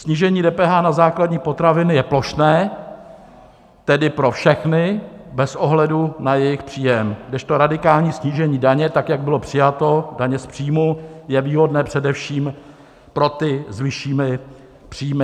Snížení DPH na základní potraviny je plošné, tedy pro všechny bez ohledu na jejich příjem, kdežto radikální snížení daně, tak jak bylo přijato, daně z příjmů, je výhodné především pro ty s vyššími příjmy.